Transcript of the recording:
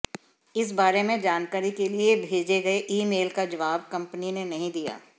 इस बारे में जानकारी के लिए भेजे गए ईमेल का जवाब कंपनी ने नहीं दिया